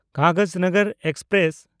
Kagaznagar express